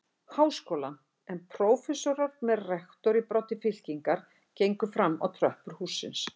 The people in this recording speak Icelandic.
Háskólann, en prófessorar með rektor í broddi fylkingar gengu fram á tröppur hússins.